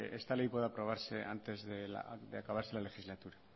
esta ley pueda aprobarse antes de acabarse la legislatura